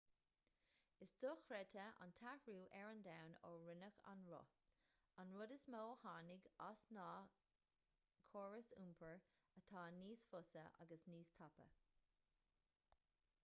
is dochreidte an t-athrú ar an domhan ó rinneadh an roth an rud is mó a tháinig as ná córais iompair atá níos fusa agus níos tapa